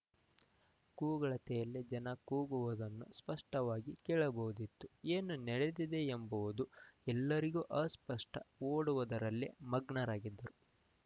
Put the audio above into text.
ಕೂಗಳತೆಯಲ್ಲೇ ಜನ ಕೂಗುವದನ್ನು ಸ್ಪಷ್ಟವಾಗಿ ಕೇಳಬಹುದಿತ್ತುಏನು ನಡದಿದೆ ಎಂಬುವುದು ಎಲ್ಲರಿಗೂ ಅಸ್ಪಷ್ಟ ಓಡುದರಲ್ಲೇ ಮಗ್ನರಾಗಿದ್ದರು